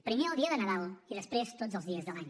primer el dia de nadal i després tots els dies de l’any